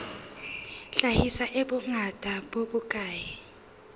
hlahiswa e bongata bo bokae